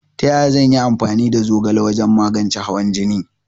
Taya zan yi amfani da zogala wajan magance hawan jine?